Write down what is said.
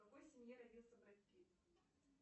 в какой семье родился брэд питт